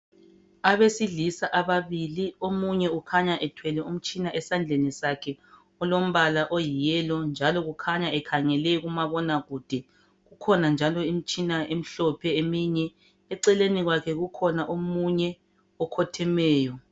Abesilisa ababili omunye ukhanya ethwele umtshina esandleni sakhe ulombala oyi yellow njalo kukhanya ekhangele kumabonakude kukhona njalo imtshina emhlophe eminye eceleni kwakhe kukhona omunye okhothemeyo.